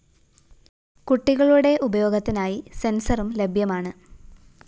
കുട്ടികളുടെ ഉപയോഗത്തിനായി സെന്‍സറും ലഭ്യമാണ്